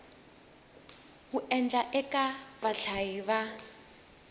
wu endlaka eka vahlayi va